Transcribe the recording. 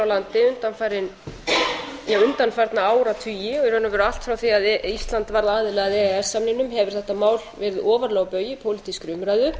landi undanfarna áratugi og í raun og veru allt frá því að ísland varð aðili að e e s samningnum hefur þetta mál verið ofarlega á baugi í pólitískri umræðu